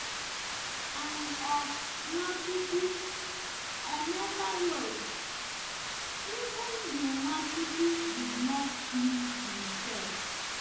And of Nwachukwu, Emeka wrote: “Even the Nwachukwu did not please himself.”